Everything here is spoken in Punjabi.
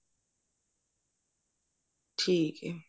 ਠੀਕ ਹੈ